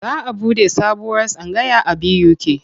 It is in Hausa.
Za a buɗe sabuwar tsangaya a BUK.